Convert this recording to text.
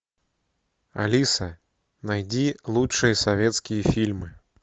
алиса найди лучшие советские фильмы